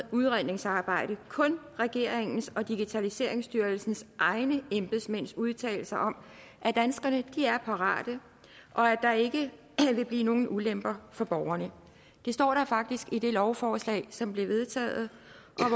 udredningsarbejde kun regeringens og digitaliseringsstyrelsens egne embedsmænds udtalelser om at danskerne er parate og at der ikke vil blive nogen ulemper for borgerne det står der faktisk i det lovforslag som blev vedtaget